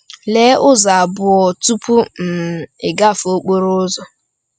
“Lee ụzọ abụọ tupu um i gafee okporo ụzọ.”